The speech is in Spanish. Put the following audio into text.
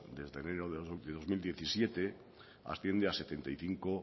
desde enero de dos mil diecisiete asciende a setenta y cinco